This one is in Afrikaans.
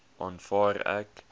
aanvaar ek